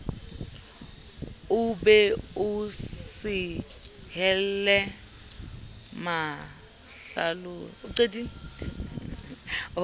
o be o sehelle mahlalosi